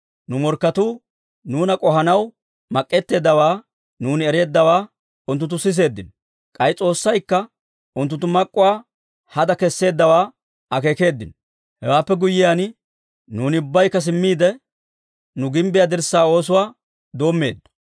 Nu morkketuu nuuna k'ohanaw mak'k'eteeddawaa nuuni ereeddawaa unttunttu siseeddino. K'ay S'oossaykka unttunttu mak'k'uwaa hada kesseeddawaa akeekeeddino. Hewaappe guyyiyaan, nuuni ubbaykka simmiide, nu gimbbiyaa dirssaa oosuwaa doommeeddo.